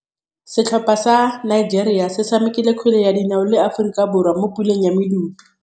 Setlhopha sa Nigeria se tshamekile kgwele ya dinaô le Aforika Borwa mo puleng ya medupe.